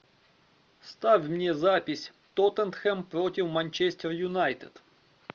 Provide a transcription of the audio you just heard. ставь мне запись тоттенхэм против манчестер юнайтед